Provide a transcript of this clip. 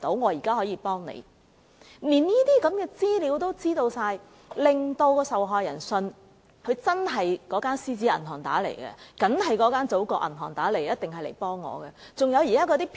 由於他們連這些資料也知道，受害人便相信對方真的是由"獅子銀行"或"祖國銀行"致電，一定是來幫助他們。